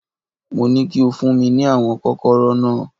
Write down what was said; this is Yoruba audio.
Mo ní kí o fún mi ní àwọn Kọ́kọ́rọ́ náà